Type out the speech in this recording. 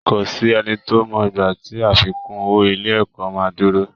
Kò sí ẹni tó mọ ìgbà tí àfikún owó ilé ẹ̀kọ́ máa dúró